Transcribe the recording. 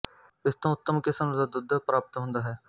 ਇਸ ਤੋਂ ਉੱਤਮ ਕਿੱਸਮ ਦਾ ਦੁੱਧ ਪ੍ਰਾਪਤ ਹੁੰਦਾ ਹੈ